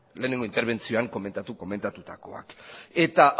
lehenengo interbentzioan komentatu komentatutakoak eta